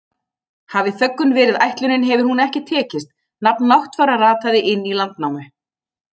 Hafi þöggun verið ætlunin hefur hún ekki tekist, nafn Náttfara rataði inn í Landnámu.